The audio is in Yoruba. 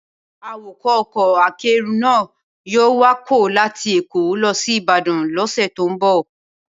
Awakọ̀ ọkọ̀ akẹ́rù náà yóò wakọ̀ láti Èkó lọ sí Ìbàdàn lọ́sẹ̀ tó ń bọ̀.